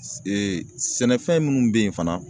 sɛnɛfɛn minnu bɛ yen fana